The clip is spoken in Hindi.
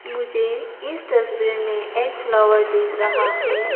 मुझे इस तस्वीर में एक फ्लावर दिख रहा है।